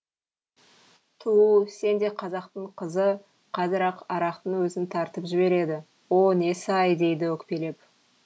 туу сендей қазақтың қызы қазір ақ арақтың өзін тартып жібереді о несі ай дейді өкпелеп